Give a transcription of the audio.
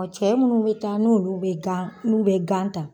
Cɛ munnu bɛ taa n'ulu bɛ gan n'u bɛ gan ta.